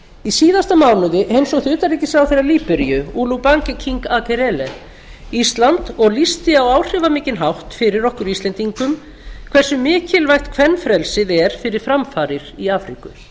í síðasta mánuði heimsótti utanríkisráðherra líberíu olubanke king akerele ísland og lýsti á áhrifamikinn hátt fyrir okkur íslendingum hversu mikilvægt kvenfrelsið er fyrir framfarir í afríku